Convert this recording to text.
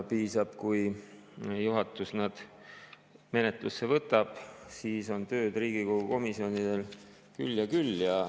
Piisab, kui juhatus need menetlusse võtab, siis on Riigikogu komisjonidel tööd küll ja küll.